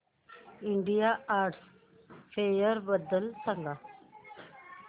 India art fair बद्दल सांग